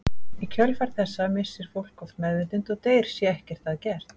í kjölfar þessa missir fólk oft meðvitund og deyr sé ekkert að gert